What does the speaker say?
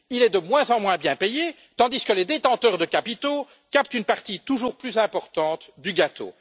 Il est de moins en moins bien payé, tandis que les détenteurs de capitaux captent une partie toujours plus importante du gâteau.